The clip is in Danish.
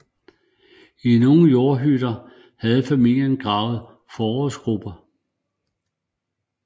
I nogle jordhytter havde familierne gravet forrådsgruber